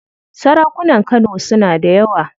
Sarakunan Kano suna da yawa.